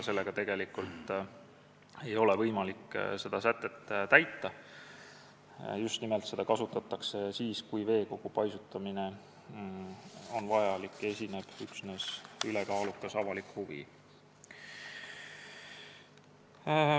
Seda sätet kasutatakse siis, kui veekogu paisutamine on vajalik ja esineb ülekaalukas avalik huvi.